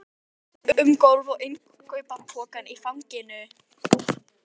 Gekk um gólf með innkaupapokann í fanginu.